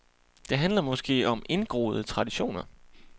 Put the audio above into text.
Det handler måske om indgroede traditioner.